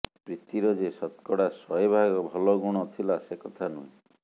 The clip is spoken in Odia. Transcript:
ପ୍ରୀତିର ଯେ ଶତକଡ଼ା ଶହେଭାଗ ଭଲଗୁଣ ଥିଲା ସେକଥା ନୁହେଁ